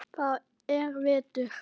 Það er vetur.